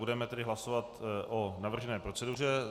Budeme tedy hlasovat o navržené proceduře.